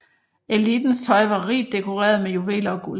Elitens tøj var rigt dekoreret med juveler og guld